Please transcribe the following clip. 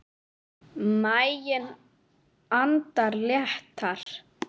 Maginn andar léttar.